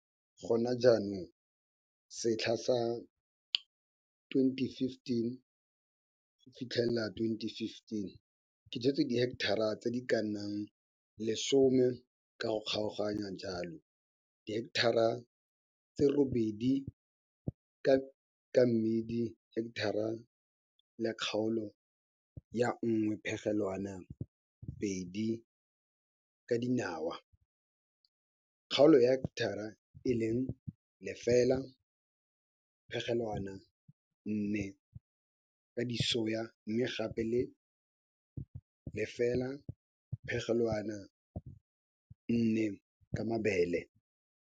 Gona jaanong, setlha sa 2014 go fitlhelela 2015 ke jwetse diheketara tse di ka nnang 10 ka go kgaoganya jalo, diheketara tse 8 ka mmidi, heketara le kgaolo ya 1,2 ka dinawa, kgaolo ya heketara e e leng 0,4 ka disoya, mme gape le 0,4 ka mabele.